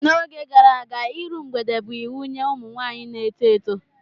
N'oge gara aga, iru mgbede bụ iwu nye ụmụ nwaanyị na-eto eto.